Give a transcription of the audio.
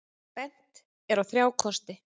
Bent er á þrjá kosti.